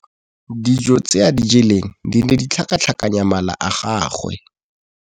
Dijô tse a di jeleng di ne di tlhakatlhakanya mala a gagwe.